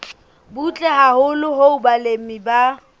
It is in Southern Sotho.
butle haholo hoo balemi ba